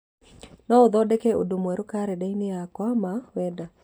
no ũthondekere ũndũ mwerũ karenda-inĩ yakwa ma wenda